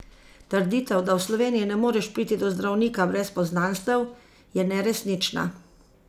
Trditev, da v Sloveniji ne moreš priti do zdravnika brez poznanstev, je neresnična.